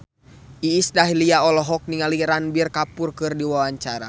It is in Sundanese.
Iis Dahlia olohok ningali Ranbir Kapoor keur diwawancara